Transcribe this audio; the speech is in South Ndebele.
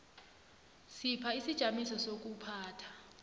sipha isijamiso sezokuphatha